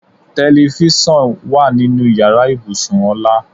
Telifísàn wà nínú ìyára ibùsùn Ọlá.